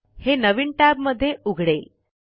हे नवीन टैब मध्ये उघडेल